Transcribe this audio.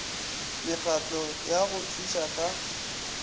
mekgatlo ya go thuša ka